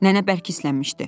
Nənə bərk hisslənmişdi.